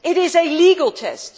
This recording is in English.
it is a legal test.